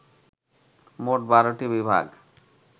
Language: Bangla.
মোট ১২টি বিভাগ